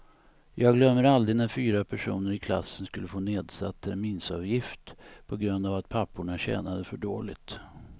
Jag glömmer aldrig när fyra personer i klassen skulle få nedsatt terminsavgift på grund av att papporna tjänade för dåligt.